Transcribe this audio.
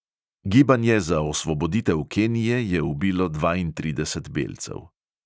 Gibanje za osvoboditev kenije je ubilo dvaintrideset belcev.